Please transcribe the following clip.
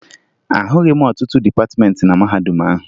Ahụghị m ọtụtụ dịpatịmeentị na mahadum ahụ